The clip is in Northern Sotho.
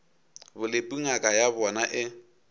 bolepu ngaka ya bona e